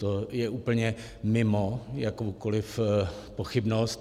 To je úplně mimo jakoukoliv pochybnost.